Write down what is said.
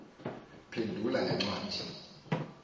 phendula le ncwadi